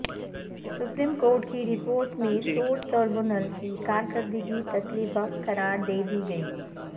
supreme court کی report میں service tribunal کی کارکردگی تسلی بخش قرار دے دی گئی